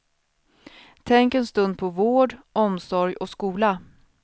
Tänk en stund på vård, omsorg och skola.